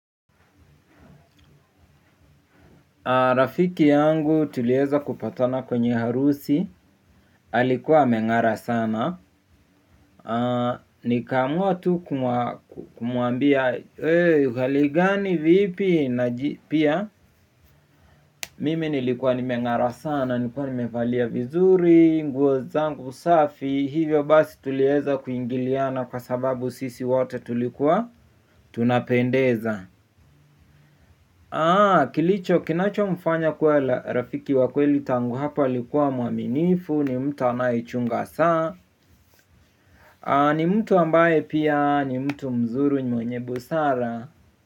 Rafiki yangu tulieza kupatana kwenye harusi, alikuwa ameng'ara sana, nikaamua tu kumwambia, wee, hali gani, vipi, na pia, mimi nilikua nimeng'ara sana, nikuwa nimevalia vizuri, nguo zangu safi, hivyo basi tulieza kuingiliana kwa sababu sisi wote tulikuwa tunapendeza. Aaaa kilicho kinacho mfanya kuwa rafiki wa kweli tangu hapo alikuwa mwaminifu ni mtu anayeichunga saa Aaaa ni mtu ambaye pia ni mtu mzuri mwenye busara.